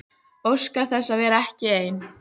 Óskar þess að vera ekki ein.